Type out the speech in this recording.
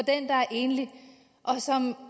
enlig og som